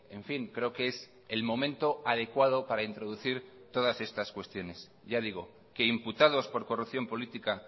en fin creo que es el momento adecuado para introducir todas estas cuestiones ya digo que imputados por corrupción política